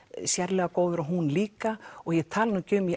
sérlega góður og hún líka og ég tala nú ekki um í